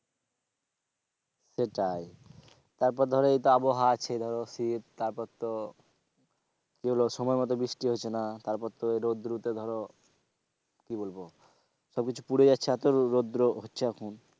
সেটাই, তারপর ধরো এই তো আবহাওয়া আছে ধরো শীত তারপর তো কি বলবো সময় মতো বৃষ্টি হচ্ছে না তারপর তো রোদ্দুর উঠে ধরো কি বলবো সবকিছু পুড়ে যাচ্ছে এতো রোদ্দুরও হচ্ছে এখন।